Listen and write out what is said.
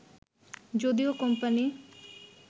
যদিও কোম্পানি